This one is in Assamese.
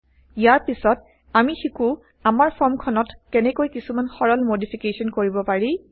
ইয়াৰ পিছত160আমি শিকো আমাৰ ফৰ্মখনত কেনেকৈ কিছুমান সৰল মডিফিকেশ্যন কৰিব পাৰি